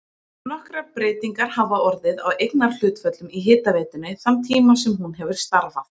Nokkrar breytingar hafa orðið á eignarhlutföllum í hitaveitunni þann tíma sem hún hefur starfað.